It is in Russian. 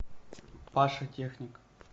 паша техник